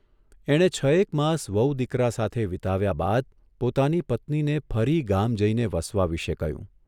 એણે છએક માસ વહુ દીકરા સાથે વીતાવ્યા બાદ પોતાની પત્નીને ફરી ગામ જઇને વસવા વિશે કહ્યું.